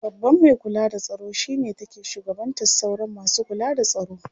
Babban mai kula da tsaro shi ne take shugabantar sauran masu kula da tsaro.